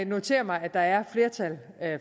noterer mig at der er flertal